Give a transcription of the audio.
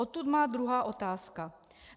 Odtud má druhá otázka.